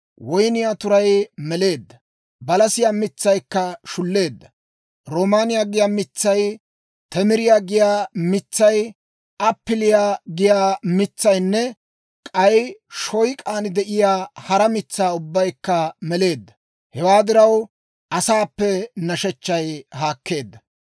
Woynniyaa turay meleedda; balasiyaa mitsaykka shulleedda; roomaaniyaa giyaa mitsay, temiriyaa giyaa mitsay, appiliyaa giyaa mitsaynne k'ay shoyk'aan de'iyaa hara mitsaa ubbaykka meleedda. Hewaa diraw, asaappe nashechchay haakkeedda.